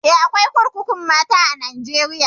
Eh, akwai kurkukun mata a Najeriya.